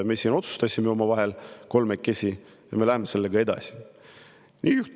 Me otsustasime omavahel kolmekesi nii ja me läheme sellega edasi.